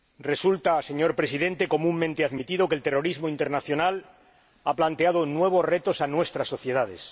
Resulta, señor Presidente, comúnmente admitido que el terrorismo internacional ha planteado nuevos retos a nuestras sociedades.